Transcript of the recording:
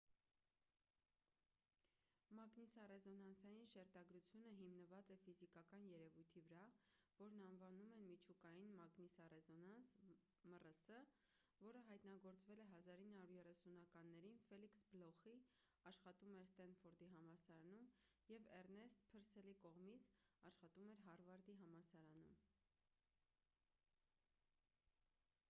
մագնիսառեզոնանսային շերտագրությունը հիմնված է ֆիզիկական երևույթի վրա որն անվանում են միջուկային մագնիսառեզոնանս մռս որը հայտնագործվել է 1930-ականներին ֆելիքս բլոխի աշխատում էր սթենֆորդի համալսարանում և էռնեստ փըրսելի կողմից աշխատում էր հարվարդի համալսարանում: